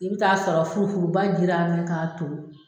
I bi t'a sɔrɔ furu furuba jirara ni k'a to